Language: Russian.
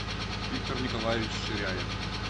виктор николаевич ширяев